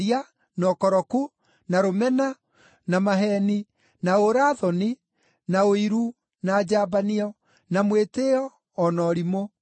na ũkoroku, na rũmena, na maheeni, na ũũra-thoni, na ũiru, na njambanio, na mwĩtĩĩo, o na ũrimũ.